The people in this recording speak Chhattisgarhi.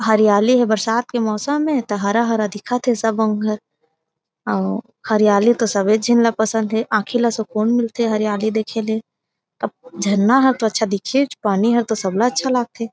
हरियाली हे बरसात के मौसम हे त हरा-हरा दिखत थे सब अउ हरियाली सबो झन ल तो सभी झीन ल पसंद हे आँखि ल सुकून मिल थे हरियाली देखे ले झरना हे तो अच्छा दिखे पानी हे तो सब ल अच्छा लागत थे।